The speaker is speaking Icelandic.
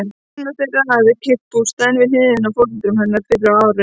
Annar þeirra hafði keypt bústaðinn við hliðina á foreldrum hennar fyrr á árinu.